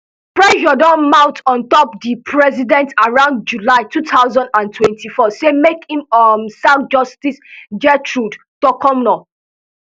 pressure don mount on top di president around july two thousand and twenty-four say make im um sack justice gertrude torkornoo